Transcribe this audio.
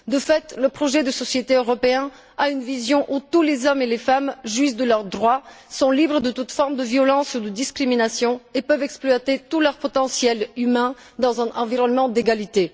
De fait, le projet de société européen propose une vision où tous les hommes et les femmes, juges de leurs droits, sont libres de toute forme de violence ou de discrimination et peuvent exploiter tout leur potentiel humain dans un environnement d'égalité.